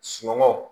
Sunɔgɔ